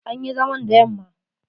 An yi zaman da yamma.